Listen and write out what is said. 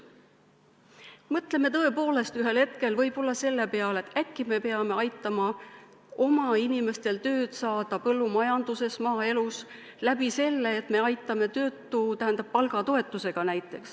Mõtleme tõepoolest ühel hetkel võib-olla selle peale, et äkki peaksime aitama oma inimestel põllumajanduses, maaelus tööd saada, näiteks selle kaudu, et aitame palgatoetusega.